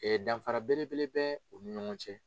Ee danfara belebele bɛ u ni ɲɔgɔn cɛ